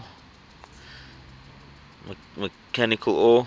mechanical or